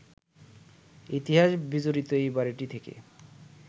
ইতিহাস বিজড়িত এই বাড়িটি থেকে